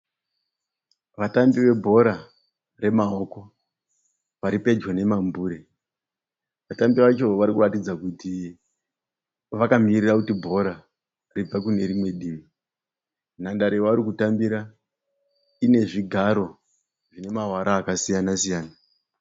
Vatambi vebhora remaoko vari pedyo nemambure. Vatambi vacho vari kuratidza kuti vakamirira kuti bhora ribve kune rimwe divi. Nhandare yavari kutambira ine zvigaro zvine mavara akasiyan-siyana.